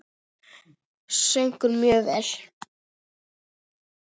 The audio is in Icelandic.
Söng hún mjög vel.